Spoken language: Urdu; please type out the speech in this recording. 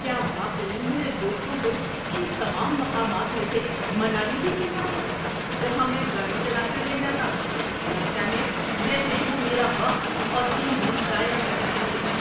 کیا واقعی میرے دوستوں کو ان تمام مقامات میں سے منالی ہی چننا تھا جہاں میں گاڑی چلا کر لے جاتا؟ لگتا ہے جیسے وہ میرا وقت اور ایندھن ضائع کرنا چاہتے ہیں!